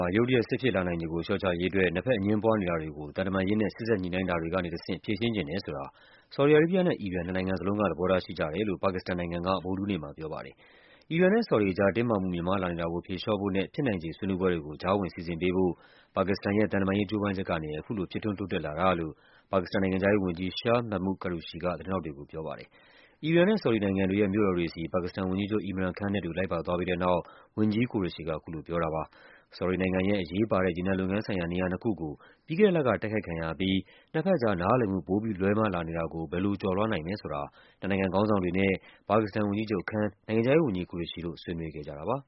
ှာ ရုတ်တရက် စစ်ဖြစ်လာနိုင်ခြေကို လျှော့ချရေးအတွက် နှစ်ဘက်အငြင်းပွားနေတာတွေကို သံတမန်ရေးနဲ့ စေ့စပ်ညှိနှိုင်းတာတွေကနေတဆင့် ဖြေရှင်းချင်တယ်ဆိုတာ ဆော်ဒီအာရေးဗျ နဲ့ အီရန် နှစ်နိုင်ငံစလုံးက သဘောထားရှိကြ တယ်လို့ ပါကစ္စတန်နိုင်ငံက ဗုဒ္ဓဟူးနေ့မှာပြောပါတယ်။ အီရန်နဲ့ဆော်ဒီအကြား တင်းမာမှုမြင့်မားလာနေတာကို ဖြေလျှော့ဖို့နဲ့ ဖြစ်နိုင်ခြေဆွေးနွေးပွဲတွေကို ကြားဝင်စီစဉ်ပေးဖို့ ပါကစ္စတန် ရဲ့ သံတမန်ရေး ကြိုးပမ်းချက်ကနေ အခုလို ဖြစ်ထွန်းတိုးတက်လာတာလို့ ပါကစ္စတန်နိုင်ငံခြားရေး ဝန်ကြီး Shah Mehmood Qureshi က သတင်းထောက်တွေကို ပြောပါတယ်။ အီရန်နဲ့ ဆော်ဒီနိုင်ငံတွေရဲ့ မြို့တော်တွေဆီ ပါကစ္စတန်ဝန်ကြီးချုပ် Imran Khan နဲ့အတူ လိုက်ပါသွားပြီးတဲ့နောက် ဝန်ကြီး Qureshi က အခုလိုပြောတာပါ။ ဆော်ဒီနိုင်ငံရဲ့ အရေးပါတဲ့ ရေနံလုပ်ငန်းဆိုင်ရာ နေရာနှစ်ခုကို ပြီးခဲ့တဲ့လက တိုက်ခိုက်ခံရအပြီး နှစ်ဘက်ကြား နားလည်မှု ပိုပြီးလွဲမှားလာနေတာကို ဘယ်လိုကျော်လွှားနိုင်မယ်ဆိုတာ နှစ်နိုင်ငံခေါင်းဆောင်တွေနဲ့ ဝန်ကြီးချုပ် Khan ၊ နိုင်ငံခြားရေးဝန်ကြီး Qureshi တို့ ဆွေးနွေးခဲ့ကြတာပါ